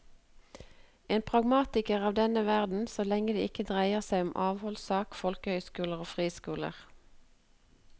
En pragmatiker av denne verden så lenge det ikke dreier seg om avholdssak, folkehøyskoler og friskoler.